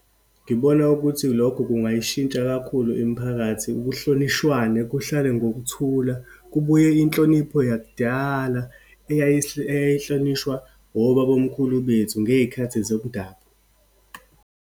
Ngibona ukuthi lokho kungayishintsha kakhulu imiphakathi, kuhlonishwane, kuhlalwe ngokuthula. Kubuye inhlonipho yakudala eyayihlonishwa obabomkhulu bethu ngeyikhathi zomdabu.